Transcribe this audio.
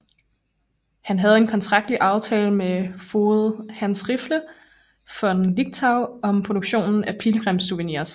Han havde en kontraktlig aftale med foged Hans Riffe von Lichtenau om produktion af pilgrimssouvenirs